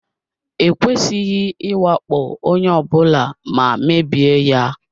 E kwesịghị ịwakpo onye ọ bụla ma mebie ya.